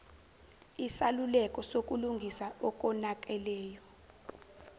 isaluleko sokulungisa okonakeleyo